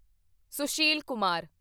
Sushil Kumar